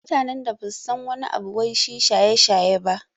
Mutanen da basu san wani abu wai shi shaye-shaye ba